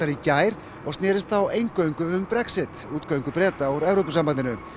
í gær og snerist þá reyndar eingöngu um Brexit útgöngu Breta úr Evrópusambandinu